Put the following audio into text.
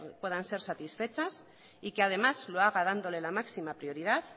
puedan ser satisfechas y que además lo haga dando la máxima prioridad